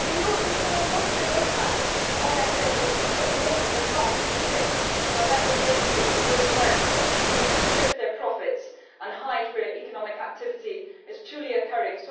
We also know it would have a positive impact on SMEs, who at the moment are not competing on a level playing field with those firms who can shift their profits and hide where economy activity is truly occurring.